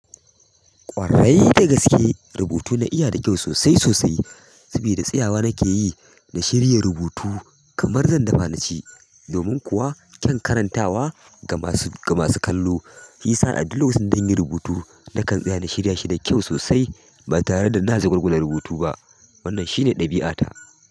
Ƙwarai da gaske rubutu na iya da kyau sosai sosai sabida tsayawa nake yi na shirya rubutu kamar zan dafa naci. Domin kuwa kyan karantawa ga masu kallo, shiyasa a duk lokacin da zanyi rubutu nakan tsaya na shirya shi da kyau sosai ba tare da ina jagwalgawala rubutu ba. Wannan shine ɗabi'ata.